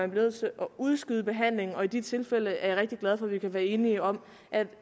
nødt til at udskyde behandlingen i de tilfælde er jeg rigtig glad for at vi kan være enige om